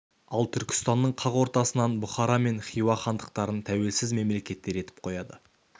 ал түркістанның қақ ортасынан бұхара мен хиуа хандықтарын тәуелсіз мемлекеттер етіп қояды